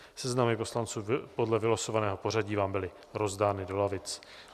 Seznamy poslanců podle vylosovaného pořadí vám byly rozdány do lavic.